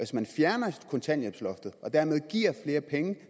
man fjerner kontanthjælpsloftet og dermed giver flere penge